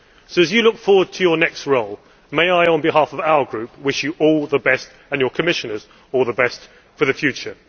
So, Mr Barroso, as you look forward to your next role may I, on behalf of our Group, wish you all the best and your Commissioners all the best for the future.